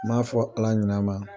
N m'a fɔ ala ɲinɛma